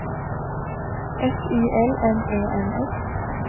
F I L M E N S